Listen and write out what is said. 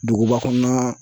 Duguba kɔnɔna